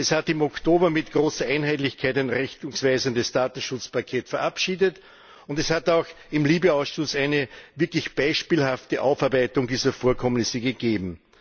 Es hat im Oktober mit großer Einheitlichkeit ein richtungsweisendes Datenschutzpaket verabschiedet, und es hat auch im LIBE Ausschuss eine wirklich beispielhafte Aufarbeitung dieser Vorkommnisse gegeben.